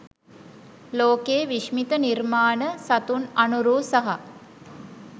ලෝකයේ විශ්මිත නිර්මාණ සතුන් අනුරූ සහ